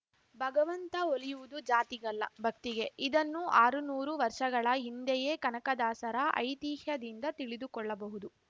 ಭಗವಂತ ಒಲಿಯುವುದು ಜಾತಿಗಲ್ಲ ಭಕ್ತಿಗೆ ಇದನ್ನು ಆರು ನೂರು ವರ್ಷಗಳ ಹಿಂದೆಯೇ ಕನಕದಾಸರ ಐತಿಹ್ಯದಿಂದ ತಿಳಿದುಕೊಳ್ಳಬಹುದು